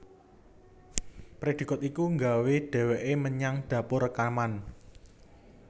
Predikat iku nggawa dheweke menyang dapur rekaman